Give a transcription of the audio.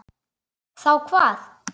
Þá hvað?